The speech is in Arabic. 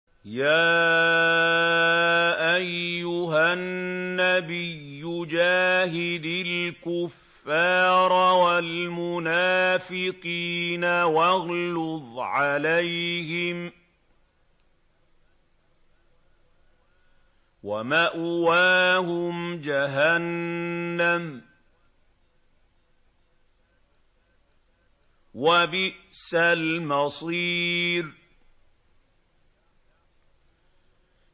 يَا أَيُّهَا النَّبِيُّ جَاهِدِ الْكُفَّارَ وَالْمُنَافِقِينَ وَاغْلُظْ عَلَيْهِمْ ۚ وَمَأْوَاهُمْ جَهَنَّمُ ۖ وَبِئْسَ الْمَصِيرُ